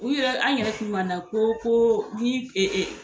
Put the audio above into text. U yɛrɛ an yɛrɛ tun na ko ko ni